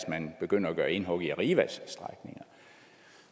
man begynder at gøre indhug i arrivas strækninger